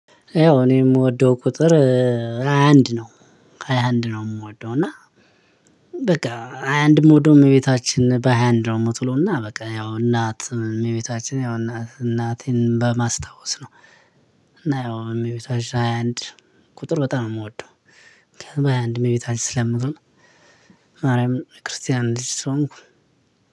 ያው እኔ የምወደው ቁጥር ሃያ አንድ ነው። ሃያ አንድ ነው የምወደው እና። በቃ ሃያ አንድ እምወደው እመቤታችን በሃያ አንድ ነው የምትውለውና በቃ ያው እናት እመቤታችን ያው እናቴን በማስታወስ ነው። እና ያው እመቤታችን ሃያ አንድ ቁጥር በጣም የምወደው ምክንያቱም በሃያ አንድ እመቤታችን ስለምትውል። ማርያምን የክርስቲያን ልጅ ስሆንኩ